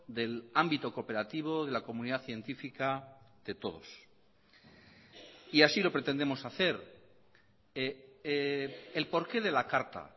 del ámbito cooperativo de la comunidad científica de todos y así lo pretendemos hacer el por qué de la carta